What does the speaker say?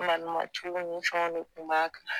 Malimtuw ni fɛnw de kun b'a kan